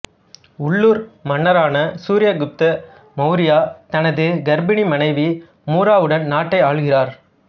உள்ளூர் மன்னரான சூர்யகுப்த மவுரியா தனது கர்ப்பிணி மனைவி மூராவுடன் நாட்டை ஆளுகிறார்